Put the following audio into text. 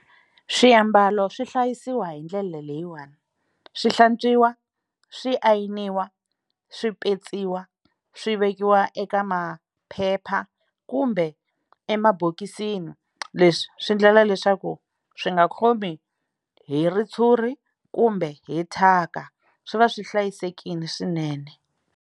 Swiambalo swi hlayisiwa hi ndlela leyiwani swi hlantswiwa swi ayiniwa swi petsiwa swi vekiwa eka maphepha kumbe emabokisini leswi swi endlela leswaku swi nga khomi hi ritshuri kumbe hi thyaka swi va swi hlayisekile swinene.